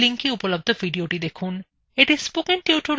নিম্নলিখিত link এ উপলব্ধ video দেখুন